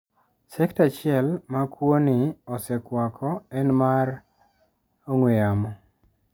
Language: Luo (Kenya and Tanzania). Sekta achiel ma kwo ni osekwako en mano mar ong'we yamo.